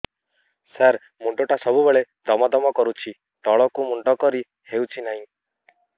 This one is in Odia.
ସାର ମୁଣ୍ଡ ଟା ସବୁ ବେଳେ ଦମ ଦମ କରୁଛି ତଳକୁ ମୁଣ୍ଡ କରି ହେଉଛି ନାହିଁ